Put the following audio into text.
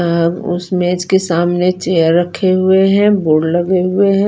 अ उस बेच के सामने चेयर रखे हुए है बोर्ड रखे हुए है।